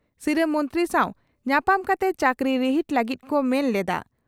ᱥᱤᱨᱟᱹ ᱢᱚᱱᱛᱨᱤ ᱥᱟᱣ ᱧᱟᱯᱟᱢ ᱠᱟᱛᱮ ᱪᱟᱹᱠᱨᱤ ᱨᱤᱦᱤᱴ ᱞᱟᱹᱜᱤᱫ ᱠᱚ ᱢᱚᱱᱮ ᱞᱮᱫᱼᱟ ᱾